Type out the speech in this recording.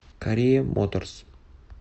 корея моторс